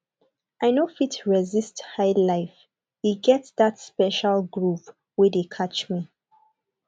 i no fit resist highlife e get that special groove wey dey catch me